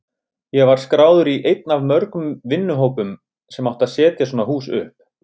Ég var skráður í einn af mörgum vinnuhópum sem átti að setja svona hús upp.